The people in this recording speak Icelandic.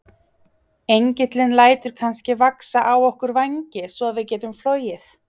Engillinn lætur kannski vaxa á okkur vængi svo við getum flogið?